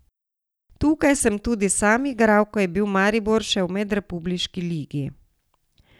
Tukaj sem tudi sam igral, ko je bil Maribor še v medrepubliški ligi.